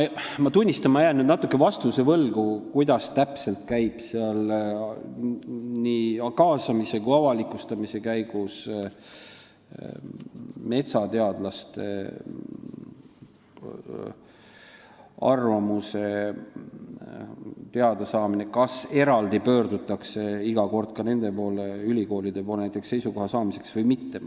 Ma jään nüüd vastuse võlgu, kuidas täpselt käib nii kaasamise kui ka avalikustamise käigus metsateadlaste arvamuse teadasaamine, kas pöördutakse iga kord eraldi nende ja ülikoolide poole seisukoha saamiseks või mitte.